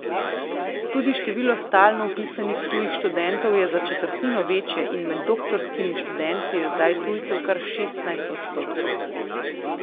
Tudi število stalno vpisanih tujih študentov je za četrtino večje in med doktorskimi študenti je zdaj tujcev kar šestnajst odstotkov.